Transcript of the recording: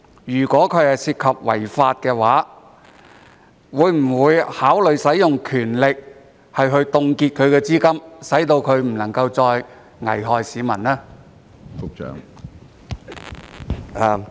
如果是違法的，局長會否考慮行使權力凍結法輪功的資金，使其不能夠再危害市民？